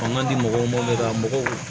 A man di mɔgɔw ma de ka mɔgɔw